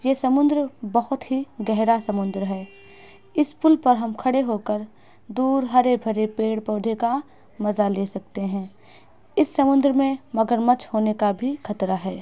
यह समुद्र बहुत ही गहरा समुद्र हैं इस पुल पर हम खड़े हो कर दूर हरे भरे पेड़ पौधे का मजा ले सकते हैं इस समुद्र मे मगरमच्छ होने का भी खतरा है |